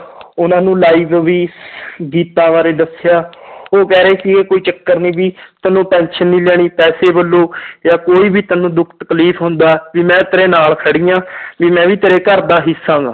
ਉਹਨਾਂ ਨੂੰ live ਵੀ ਗੀਤਾਂ ਬਾਰੇ ਦੱਸਿਆ ਉਹ ਕਹਿ ਰਹੇ ਸੀਗੇ ਕੋਈ ਚੱਕਰ ਨੀ ਵੀ ਤੈਨੂੰ tension ਨੀ ਲੈਣੀ ਪੈਸੇ ਵੱਲੋਂ ਜਾਂ ਕੋਈ ਵੀ ਤੈਨੂੰ ਦੁੱਖ ਤਕਲੀਫ਼ ਹੁੰਦਾ, ਵੀ ਮੈਂ ਤੇਰੇ ਨਾਲ ਖੜੀ ਹਾਂ ਵੀ ਮੈਂ ਵੀ ਤੇਰੇ ਘਰਦਾ ਹਿੱਸਾ ਗਾ।